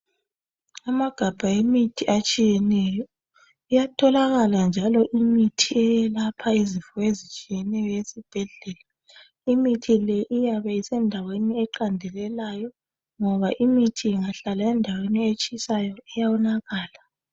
Amagabha emithi atshiyeneyo iyatholakala njalo imithi eyelapha izifo ezitshiyeneyo esibhedlela, imithi le iyabe isendaweni eqandelelayo ngoba imithi ingahlala endaweni etshisayo iyawonakala .